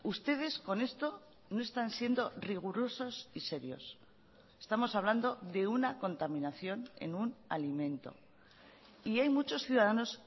ustedes con esto no están siendo rigurosos y serios estamos hablando de una contaminación en un alimento y hay muchos ciudadanos